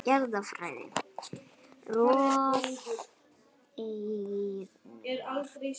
Jarðfræði: Rof eyjunnar.